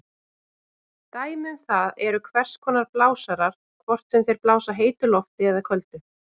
Dæmi um það eru hvers konar blásarar, hvort sem þeir blása heitu lofti eða köldu.